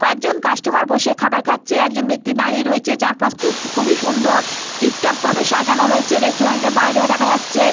কয়েকজন কাস্টমার বসে খাবার খাচ্ছে। একজন ব্যক্তি দাঁড়িয়ে রয়েছে। চারপাশ খুব খুবই সুন্দর। টিপটপ ভাবে সাজানো রয়েছে। রেস্টুরেন্টের বাইরেও দেখা যাচ্ছে।